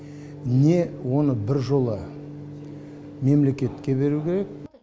не оны біржола мемлекетке беру керек